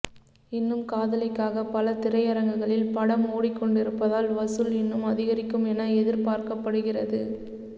இன்னும் காதலிக்காக பல திரையரங்குகளில் படம் ஓடிக்கொண்டிருப்பதால் வசூல் இன்னும் அதிகரிக்கும் என எதிர்பார்க்கப்படுகிறது